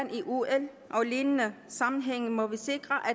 at og lignende sammenhænge må vi sikre at